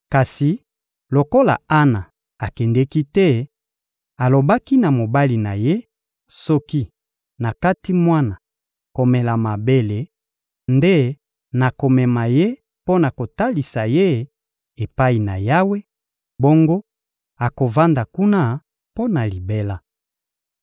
Kasi lokola Ana akendeki te, alobaki na mobali na ye: — Soki nakati mwana komela mabele nde nakomema ye mpo na kotalisa ye epai na Yawe; bongo akovanda kuna mpo na libela.